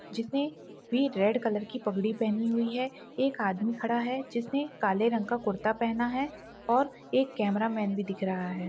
जिसने भी red colour की पगड़ी पहनी हुई हैं एक आदमी खडा है जिसने काले रंग का कुर्ता पहना हैं और एक कैमरामैन भी दिख रहा हैं।